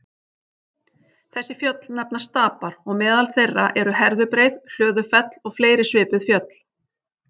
Þessi fjöll nefnast stapar og meðal þeirra eru Herðubreið, Hlöðufell og fleiri svipuð fjöll.